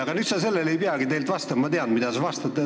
Aga sa sellele ei peagi tegelikult vastama – ma tean, mida sa vastad.